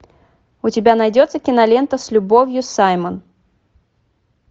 у тебя найдется кинолента с любовью саймон